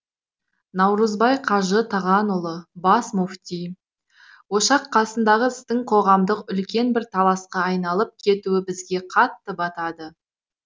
наурызбай қажы тағанұлы бас мүфти ошақ қасындағы істің қоғамдық үлкен бір таласқа айналып кетуі бізге қатты батады